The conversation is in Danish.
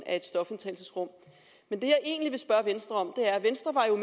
et stofindtagelsesrum men det jeg egentlig vil spørge venstre om